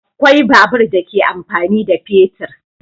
Akwai babur da ke amfani da fetur.